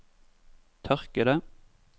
tørkede